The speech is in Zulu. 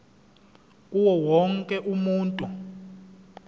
kuwo wonke umuntu